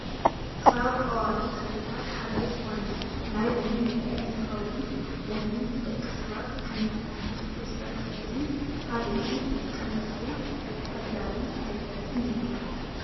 ካብ ቆዋሚ ተክልታት ሓደ ዝኮነ ናይ ለሚን ፍረ እንትከውን ለሚን ንደቂ ሰባት ከም መድሓኒት ቅርፀት ከብድን ካልእን ዝጥቀሙሉ ኣድላይን ኣገዳስን እዩ።